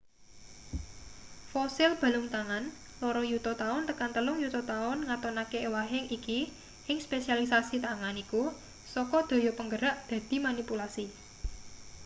fosil balung tangan loro yuta taun tekan telung yuta taun ngatonake ewahing iki ing spesialisasi tangan iku saka daya penggerak dadi manipulasi